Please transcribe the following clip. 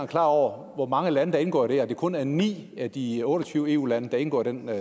klar over hvor mange lande der indgår i det at det kun er ni af de otte og tyve eu lande der indgår i den